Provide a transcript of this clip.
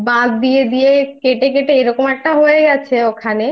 নদী ছিল টানা ঠিক আছে তো সেই নদীগুলো বাঁধ দিয়ে